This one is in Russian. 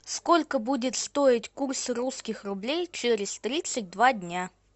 сколько будет стоить курс русских рублей через тридцать два дня